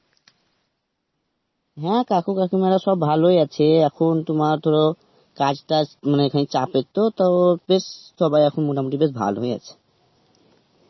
হ্যাঁ কাকু কাকীমারা সব ভালোই আছে এখন তোমার ধর কাজ টাজ মানে খানিক চাপের তো তো বেশ সবাই এখন মোটামুটি বেশ ভালই আছে